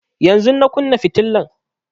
Yanzun na kunna fitilan